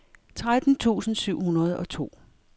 tretten tusind syv hundrede og to